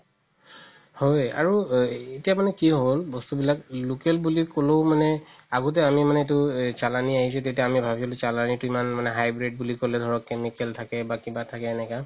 হয় আৰু এতিয়া মানে কি হ'ল বস্তু বিলাক local বুলি ক'লেও মানে আগতে মানে আমি এইটো চালানি আহিছে তেতিয়া আমি ভাবিছিলো চালানিতো ইমান hybrid বুলি ক'লে ধৰক chemical থাকে বা কিবা থাকে এনেকা